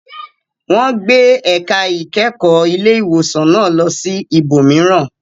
Wọn gbé ẹ̀ka ìkẹ́kọ̀ọ́ ilé ìwòsàn náà lọ sí ibòmíràn..